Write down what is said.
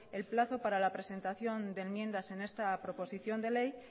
el plazo para la presentación de enmiendas en esta proposición de ley